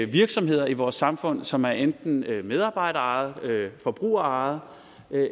virksomheder i vores samfund som enten er medarbejderejede forbrugerejede